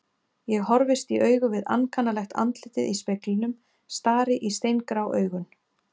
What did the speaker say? Ég horfist í augu við ankannalegt andlitið í speglinum, stari í steingrá augun.